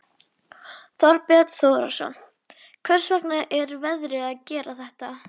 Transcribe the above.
Alveg vissi Lóa-Lóa hvað Heiða mundi gera í kvöld.